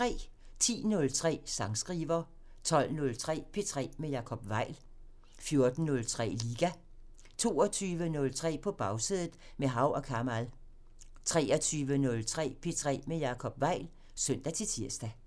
10:03: Sangskriver 12:03: P3 med Jacob Weil 14:03: Liga 22:03: På Bagsædet – med Hav & Kamal 23:03: P3 med Jacob Weil (søn-tir)